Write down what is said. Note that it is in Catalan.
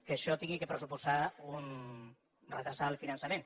que això hagi de pressuposar retardar el finançament